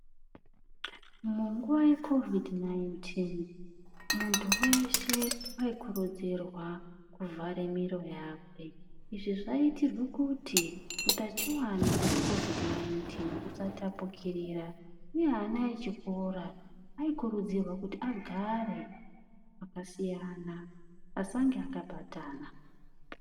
Munguwa yebesha mupengo muntu weshe waikurudzirwa kuvhare miro yakwe izvizvaitirwe kuti utachiwana hwebesha mupengo husatapurirwana, uye ana echikora aikurudzirwa kuti agare pakasiyana asange akabatana.